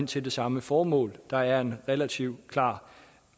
til samme formål der er en relativt klar